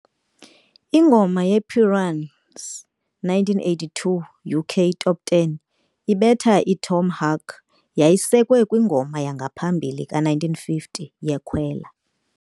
Ingoma yePiranha's 1982 UK Top Ten ibetha i' Tom Hark 'yayisekwe kwingoma yangaphambili ka-1950 yeKwela.